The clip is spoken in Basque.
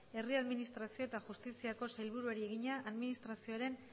herri administrazio eta justiziako sailburuari egina administrazioaren